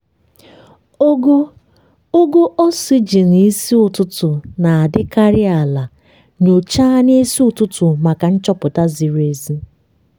ogo ogo oxygen isi ụtụtụ na-adịkarị ala- nyochaa n'isi ụtụtụ maka nchọpụta ziri ezi.